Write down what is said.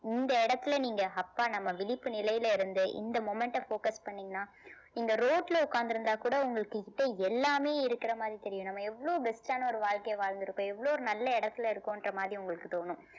இந்த இடத்துல நீங்க ஹப்பா நம்ம நம்ம விழிப்பு நிலையில இருந்து இந்த moment அ focus பண்ணீங்கன்னா இந்த road ல உக்காந்திருந்தா கூட உங்களுக்குகிட்ட எல்லாமே இருக்குற மாதிரி தெரியும் நம்ம எவ்ளோ best ஆன ஒரு வாழ்க்கைய வாழ்ந்துருக்கோம் எவ்ளோ ஒரு நல்ல இடத்துல இருக்கோம்ன்ற மாதிரி உங்களுக்கு தோணும்